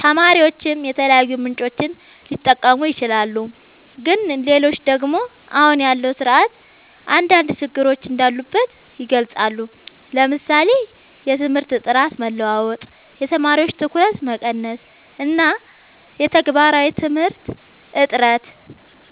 ተማሪዎችም የተለያዩ ምንጮችን ሊጠቀሙ ይችላሉ። ግን ሌሎች ደግሞ አሁን ያለው ስርዓት አንዳንድ ችግሮች እንዳሉበት ይገልጻሉ፤ ለምሳሌ የትምህርት ጥራት መለዋወጥ፣ የተማሪዎች ትኩረት መቀነስ እና የተግባራዊ ትምህርት እጥረት።